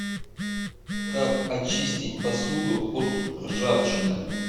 как очистить посуду от ржавчины